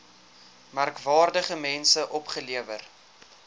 merkwaardige mense opgelewer